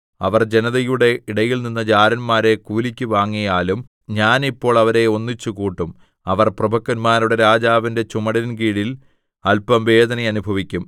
അവർ ജനതയുടെ ഇടയിൽനിന്ന് ജാരന്മാരെ കൂലിക്ക് വാങ്ങിയാലും ഞാൻ ഇപ്പോൾ അവരെ ഒന്നിച്ച് കൂട്ടും അവർ പ്രഭുക്കന്മാരുടെ രാജാവിന്റെ ചുമടിൻകീഴിൽ അല്പം വേദന അനുഭവിക്കും